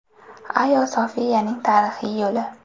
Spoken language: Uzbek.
Ayo Sofiyaning tarixiy yo‘li.